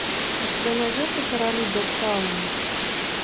у тебя найдется короли догтауна